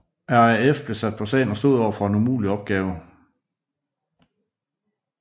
RAF blev sat på sagen og stod overfor en umulig opgave